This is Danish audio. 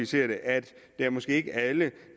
til at det måske ikke er alle